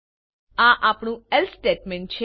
આ આપણું else statement છે